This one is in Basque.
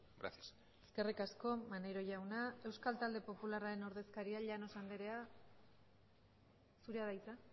gracias eskerrik asko maneiro jauna euskal talde popularraren ordezkaria llanos anderea zurea da hitza